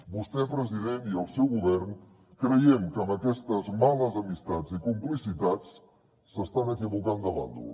vostè president i el seu govern creiem que amb aquestes males amistats i complicitats s’estan equivocant de bàndol